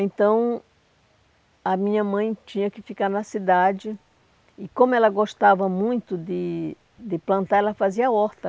Então, a minha mãe tinha que ficar na cidade, e como ela gostava muito de de plantar, ela fazia horta.